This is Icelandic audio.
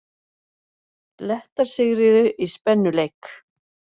Lettar sigruðu í spennuleik